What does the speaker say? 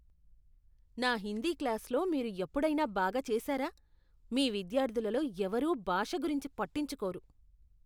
నా హిందీ క్లాస్లో మీరు ఎప్పుడైనా బాగా చేశారా? మీ విద్యార్థులలో ఎవరూ భాష గురించి పట్టించుకోరు.